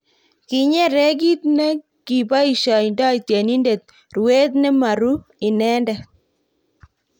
kinyere kito ne kiboisiondoi tyenindet ruet ne maru inendet